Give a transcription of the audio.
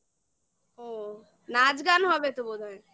ও নাচ গান হবে তো বোধ হয়